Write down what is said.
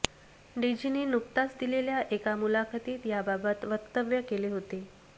डेझीने नुकताच दिलेल्या एका मुलाखतीत याबाबत वक्तव्य केले होते